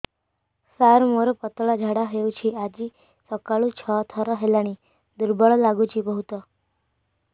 ସାର ମୋର ପତଳା ଝାଡା ହେଉଛି ଆଜି ସକାଳୁ ଛଅ ଥର ହେଲାଣି ଦୁର୍ବଳ ଲାଗୁଚି ବହୁତ